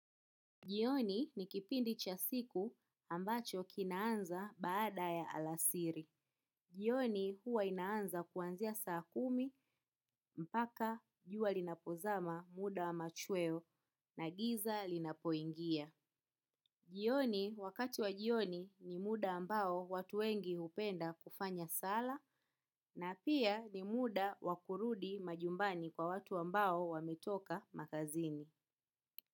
Jioni ni kipindi cha siku ambacho kinaanza baada ya alasiri. Jioni huwa inaanza kuanzia saa kumi mpaka jua linapozama muda wa machweo na giza linapoingia. Jioni wakati wa jioni ni muda ambao watu wengi hupenda kufanya sala na pia ni muda wa kurudi majumbani kwa watu ambao wametoka makazini.